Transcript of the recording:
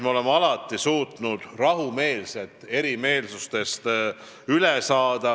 Me oleme alati suutnud rahumeelselt erimeelsustest üle saada.